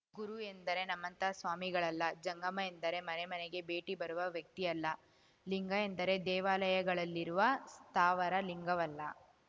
ಗುರು ಎಂದರೆ ನಮ್ಮಂಥ ಸ್ವಾಮಿಗಳಲ್ಲ ಜಂಗಮ ಎಂದರೆ ಮನೆ ಮನೆಗೆ ಭೇಟಿ ಬರುವ ವ್ಯಕ್ತಿಯಲ್ಲ ಲಿಂಗ ಎಂದರೆ ದೇವಾಲಯಗಳಲ್ಲಿರುವ ಸ್ಥಾವರ ಲಿಂಗವಲ್ಲ